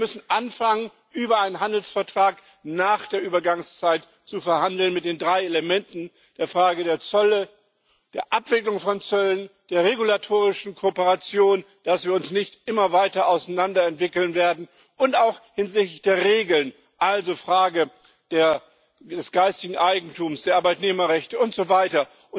Außerdem müssen wir anfangen, über einen Handelsvertrag nach der Übergangszeit zu verhandeln, mit den drei Elementen der Frage der Zölle, der Abwicklung von Zöllen und der regulatorischen Kooperation damit wir uns nicht immer weiter auseinander entwickeln werden und auch hinsichtlich der Regeln also Fragen des geistigen Eigentums, der Arbeitnehmerrechte und so weiter.